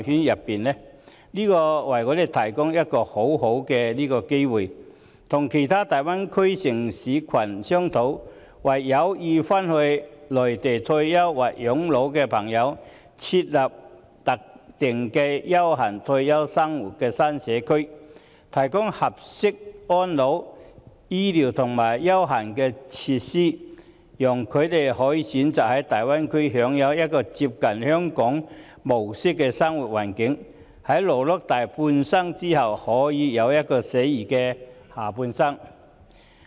這正好為我們提供機會與大灣區其他城市群商討，為有意返回內地退休或養老的人士設立特定的優閒退休生活新社區，提供合適的安老、醫療和優閒設施，讓他們可以選擇在大灣區享有一個接近香港模式的生活環境，在勞碌大半生後過一個寫意的下半生。